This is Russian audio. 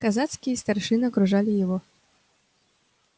казацкие старшины окружали его